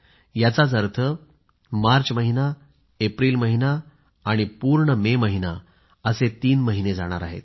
याचाच अर्थ मार्च महिना एप्रिल महिना आणि पूर्ण मे महिना असे तीन महिने जाणार आहेत